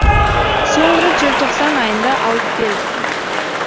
соңғы рет желтоқсан айында алып келдік